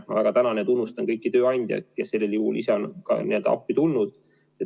Ma väga tänan ja tunnustan kõiki tööandjaid, kes sel juhul ise on appi tulnud.